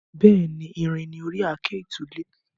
Bẹ́ẹ̀ni, irin ni ori àáké ìtúlẹ̀.